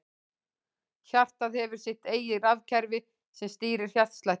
Hjartað hefur sitt eigið rafkerfi sem stýrir hjartslættinum.